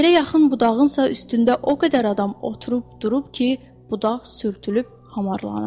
Yerə yaxın budağınsa üstündə o qədər adam oturub durub ki, budaq sürtülüb hamarlanıb.